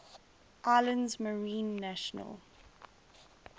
islands marine national